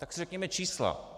Tak si řekněme čísla.